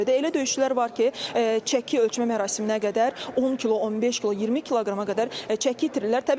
Elə döyüşçülər var ki, çəki ölçmə mərasiminə qədər 10 kilo, 15 kilo, 20 kiloqrama qədər çəki itirirlər.